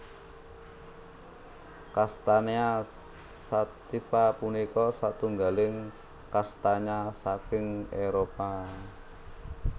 Castanea sativa punika satunggaling kastanya saking Éropah